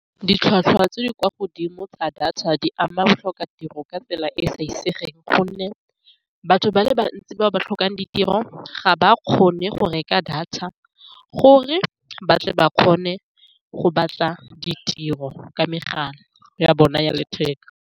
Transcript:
Ditlhwatlhwa tse di kwa godimo tsa data di ama batlhoka tiro ka tsela e e sa , ka gonne batho ba le bantsi bao ba tlhokang ditiro ga ba kgone go reka data, gore batle ba kgone go batla ditiro ka megala ya bone ya letheka.